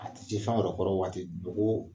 A ti w'a ti dogo